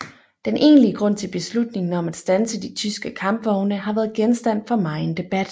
Den egentlige grund til beslutningen om at standse de tyske kampvogne har været genstand for megen debat